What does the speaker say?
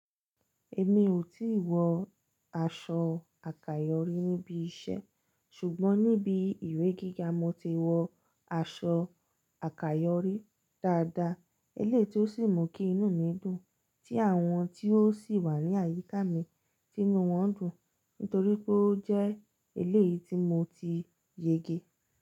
Èmi ò tí wọ aṣọ àkàyọrí níbi iṣẹ́ ṣùgbọ́n níbi ìwé gíga mo ti wọ aṣọ àkàyọrí dáadáa, eléyìí tí ó sì mú kí inú mi dùn tí àwọn tí ó sì wà ní àyíká mi ti inú wọn dùn nítorí pé ó jẹ́ eléyìí tí mo ti yege.